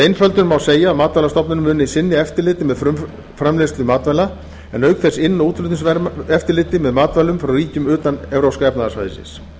einföldun má segja að matvælastofnun muni sinna eftirliti með frumframleiðslu matvæla en auk þess inn og útflutningseftirliti með matvælum frá ríkjum utan evrópska efnahagssvæðisins